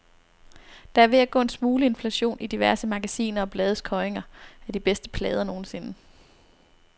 Der er ved at gå en smule inflation i diverse magasiner og blades kåringer af de bedste plader nogensinde.